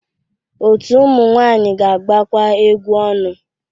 Otu ụmụ nwanyị ga-agbakwa egwu ọnụ.